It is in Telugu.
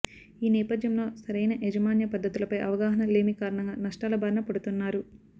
ఈ నేపథ్యంలో సరైన యాజమాన్య పద్ధతులపై అవగాహన లేమి కారణంగా నష్టాల బారిన పడుతున్నారు